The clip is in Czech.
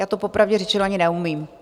Já to popravdě řečeno ani neumím.